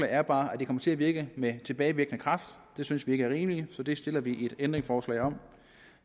er bare at det kommer til at virke med tilbagevirkende kraft det synes vi ikke er rimeligt så det stiller vi et ændringsforslag om